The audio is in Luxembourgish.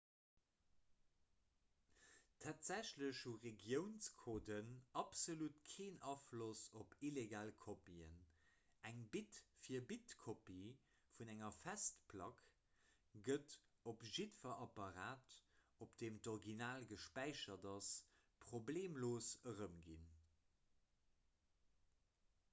tatsächlech hu regiounscoden absolut keen afloss op illegal kopien eng bit-fir-bit-kopie vun enger festplack gëtt op jiddwer apparat op deem d'original gespäichert ass problemlos erëmginn